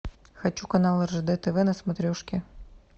хочу канал ржд тв на смотрешке